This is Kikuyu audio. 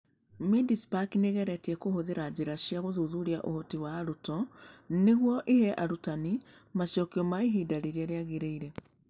Mindspark nĩ ĩgeretie kũhũthĩra njĩra cia gũthuthuria ũhoti wa arutwo nĩguo ĩhe arutani macokio ma ihinda rĩrĩa rĩagĩrĩire.